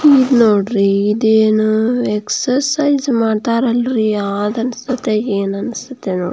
ನೋಡ್ರಿ ಇದು ಅಹ್ ಅಹ್ ಎಕ್ಸಾರ್ಸಿಯ್ಸ್ ಮಾಡ್ತಾರಲ್ಲಿ ಅದು ಹಗನ್ಸತೆ ನೋಡ್ರಿ ಏನ್ ಆಂಸ್ಟತೆ --